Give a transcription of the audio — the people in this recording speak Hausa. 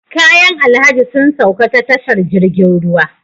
Kayan alhaji sun sauka ta tashar jirgin ruwa